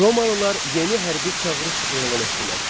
Romalılar yeni hərbi çağırış elan etdilər.